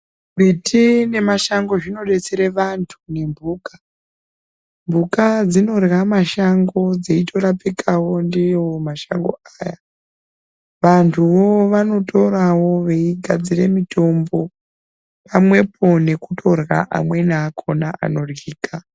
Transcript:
Miti nemashango zvinodetsere vantu nembuka. Mbuka dzinorya mashango dzeitorapikawo ndiwo mashango aya. Vantuwo vanotorawo veigadzire mutombo pamwepo nekutorya amweni akona anoryika.